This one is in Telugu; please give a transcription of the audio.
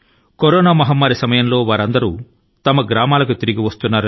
కరోనా విశ్వమారి కాలం లో వారు తిరిగి తమ ఊరి కి తిరిగి వస్తున్నారు